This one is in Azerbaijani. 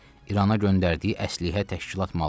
İrana göndərdiyi əslehə təşkilat malı idi.